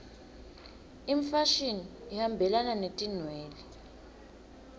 imfashini ihambelana netinwele